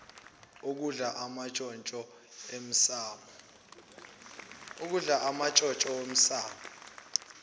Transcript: okudla amantshontsho emsamo